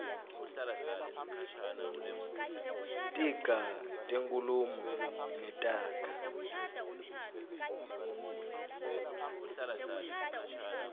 tiga tenkhulumo netaga